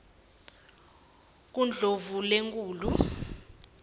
kundlovulenkhulu